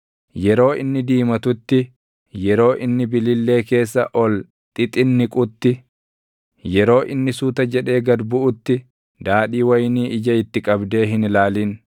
Yeroo inni diimatutti, yeroo inni billillee keessa ol xixinniqutti, yeroo inni suuta jedhee gad buʼutti daadhii wayinii ija itti qabdee hin ilaalin.